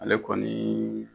Ale kɔni.